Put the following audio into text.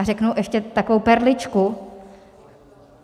A řeknu ještě takovou perličku.